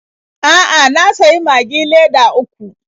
A'a, na sayi Magi leda uku.